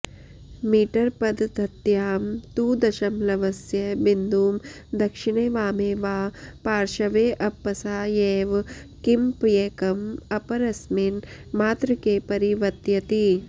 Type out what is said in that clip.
मीटरपद्ध्त्यां तु दशमलवस्य बिन्दुं दक्षिणे वामे वा पार्श्वेऽपसायैव किमप्येकम् अपरस्मिन् मात्रके परिवत्यति